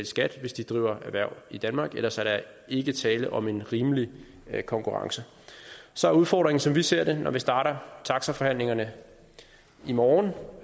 skat hvis de driver erhverv i danmark ellers er der ikke tale om en rimelig konkurrence så er udfordringen som vi ser det når man starter taxaforhandlingerne i morgen